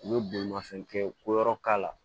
U bɛ bolimafɛn kɛ ko yɔrɔ k'a la